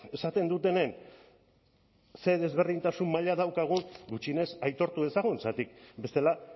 esaten dutenen zer desberdintasun mailan daukagun gutxienez aitortu dezagun zergatik bestela